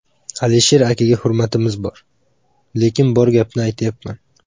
Alisher akaga hurmatimiz bor, lekin bor gapni aytyapman.